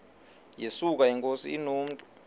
yesuka inkosi inomntu